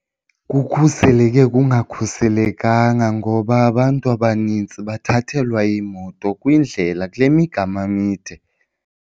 Kukhuseleke kungakhuselekanga ngoba abantu abanintsi bathathelwa iimoto kwindlela kule migama mide.